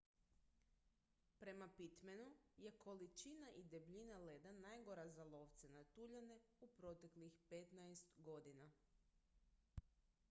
prema pittmanu je količina i debljina leda najgora za lovce na tuljane u proteklih 15 godina